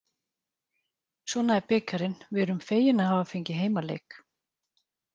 Svona er bikarinn, við erum fegin að hafa fengið heimaleik.